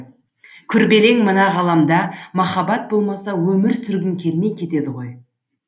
күрбелең мына ғаламда махаббат болмаса өмір сүргің келмей кетеді ғой